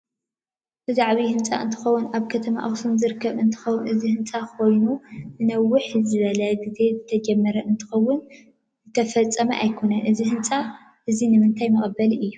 እዚ ዓብይ ህንፃ እንትከውን አብ ከተማ አክሱም ዝርከብ እንትከውን እዚ ህንፃ ኮይኑ ንንውሕ ዝበለ ግዚ ዝተጀመረ እንትከውን ዝተፈፀመ አይኮነን አዚ ህንፃ እዚ ንምንታይ መቀበሊ አዩ?